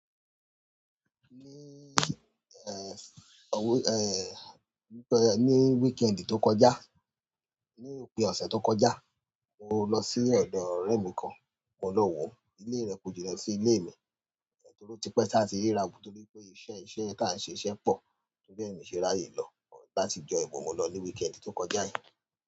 Ní eh. Òwe-- eh, ní kẹ́-- ní weekend tó kọjá, ní òpin ọ̀sẹ̀ tó kọjá, mo lọ sí ọ̀dọ̀ ọ̀rẹ́ mi kan. Mo lọ wòó. Ilé rẹ̀ kò jìnnà sí ilé mi. Torí ó ti pẹ́ táa ti ríra wò nítorí pé iṣẹ́ iṣẹ́ tí à ń ṣe, iṣẹ́ pọ̀. Torí bí èmi ṣe ráyè lọ látijọ́ yìí, but mo lọ ní weekend tó kọjá yìí.